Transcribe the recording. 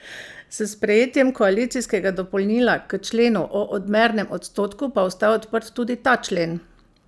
S sprejetjem koalicijskega dopolnila k členu o odmernem odstotku pa ostaja odprt tudi ta člen.